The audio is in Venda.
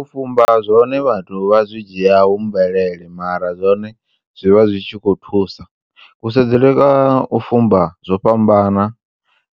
U fumba zwone vhathu vha zwi dzhiya hu mvelele mara zwone zwivha zwi tshi kho thusa, kusedzele kwa u fumba zwo fhambana